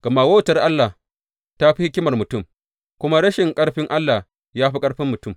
Gama wautar Allah ta fi hikimar mutum, kuma rashin ƙarfin Allah ya fi ƙarfin mutum.